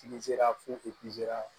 Ti se ka foli sera